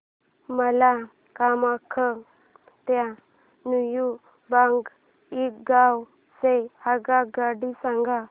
मला कामाख्या ते न्यू बोंगाईगाव च्या आगगाड्या सांगा